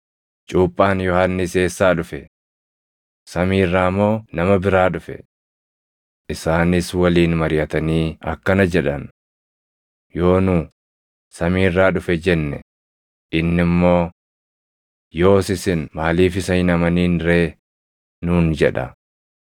Cuuphaan Yohannis eessaa dhufe? Samii irraa moo nama biraa dhufe?” Isaanis waliin mariʼatanii akkana jedhan; “Yoo nu, ‘Samii irraa dhufe’ jenne, inni immoo, ‘Yoos isin maaliif isa hin amanin ree?’ nuun jedha.